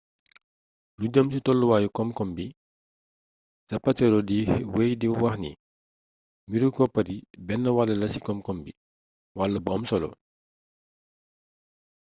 lu jeem ci tolluwayu komkom bi zapatero di weey di waxni mbiru koppar yi bénn wall la ci komkom bi wall bu amsolo